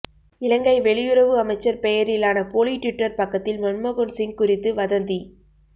இலங்கை வெளியுறவு அமைச்சர் பெயரிலான போலி ட்விட்டர் பக்கத்தில் மன்மோகன்சிங் குறித்து வதந்தி